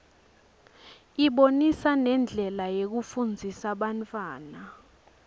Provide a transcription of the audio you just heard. ibonisa nendlela yokufundzisa bantfwana